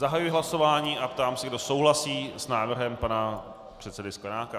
Zahajuji hlasování a ptám se, kdo souhlasí s návrhem pana předsedy Sklenáka.